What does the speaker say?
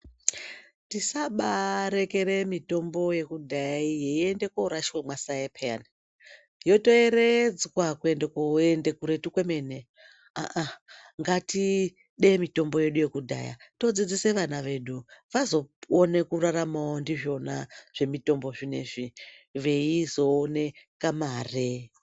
Tisabarekera mitombo yekudhaya iyi yeienda korashwa mwaSaye peyani yetoyeredzwa kuenda kuenda kuretu kwemene, aah aah ngatide mitombo yesu yekudhaya todzidzisa vana vedu vazopone kurarama ndizvona zvemutombo zvinezvi veizoona kamare.